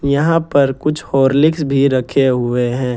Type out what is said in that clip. यहां पर कुछ हॉर्लिक्स भी रखे हुए हैं।